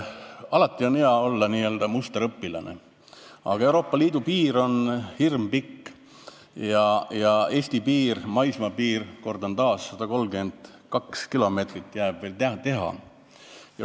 Alati on hea olla n-ö musterõpilane, aga Euroopa Liidu piir on hirmpikk ja Eesti maismaapiirist – kordan taas – jääb 132 kilomeetrit veel teha.